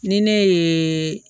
Ni ne ye